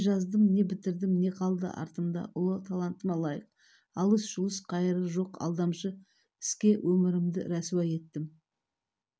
не жаздым не бітірдім не қалды артымда ұлы талантыма лайық алыс-жұлыс қайыры жоқ алдамшы іске өмірімді рәсуа еттім